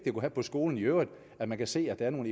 have på skolen i øvrigt at man kan se at der er nogle